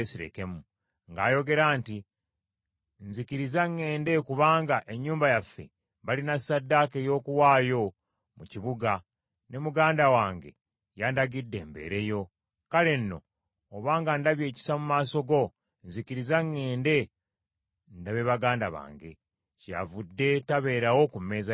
ng’ayogera nti, ‘Nzikiriza ŋŋende kubanga ennyumba yaffe balina ssaddaaka ey’okuwaayo mu kibuga, ne muganda wange yandagidde mbeere yo. Kale nno obanga ndabye ekisa mu maaso go, nzikiriza ŋŋende ndabe baganda bange.’ Kyeyavudde tabeerawo ku mmeeza ya kabaka.”